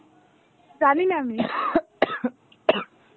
জানি না আমি.